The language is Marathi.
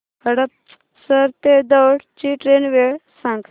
हडपसर ते दौंड ची ट्रेन वेळ सांग